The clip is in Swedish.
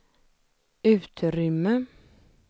utrymme